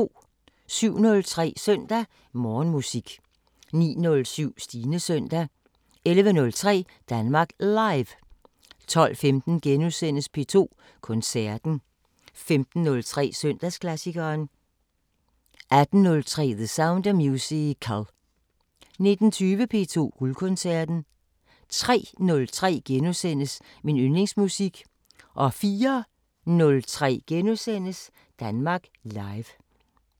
07:03: Søndag Morgenmusik 09:07: Stines søndag 11:03: Danmark Live 12:15: P2 Koncerten * 15:03: Søndagsklassikeren 18:03: The Sound of Musical 19:20: P2 Guldkoncerten 03:03: Min yndlingsmusik * 04:03: Danmark Live *